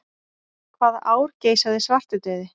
Hvaða ár geisaði svartidauði?